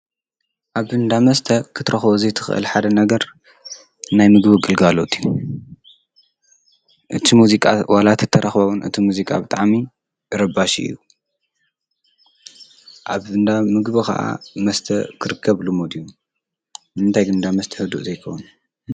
አብ እንዳ መስተ ክትረክቦ ዘይትኽእል ሓደ ነገር ናይ ምግቢ ግልጋሎት እዩ። ዋላ እንተተረኸበ እቲ ሙዚቃ ብጣዕሚ ረባሺ እዩ። አብ እንዳ ምግቢ ከዓ መስተ ክርከብ ልሙድ እዩ። ንምንታይ እንዳ መስተ ህዱእ ዘይከዉን ?